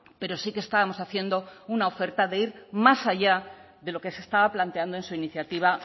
pero sí que estábamos haciendo una oferta de ir más allá de lo que se estaba planteando en su iniciativa